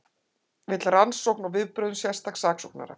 Vill rannsókn á vinnubrögðum sérstaks saksóknara